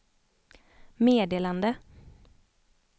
meddelande